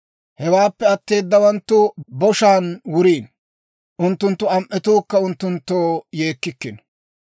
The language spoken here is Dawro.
Hewaappe atteedawanttu boshaan wuriino; unttunttu am"etuukka unttunttoo yeekkikkino.